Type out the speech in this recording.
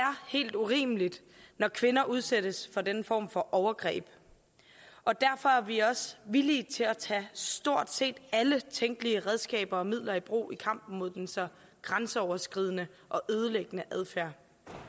helt urimeligt når kvinder udsættes for den form for overgreb og derfor er vi også villige til at tage stort set alle tænkelige redskaber og midler i brug i kampen mod den så grænseoverskridende og ødelæggende adfærd